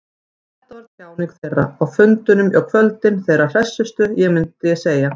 Þetta var tjáning þeirra, á fundunum á kvöldin, þeirra hressustu, myndi ég segja.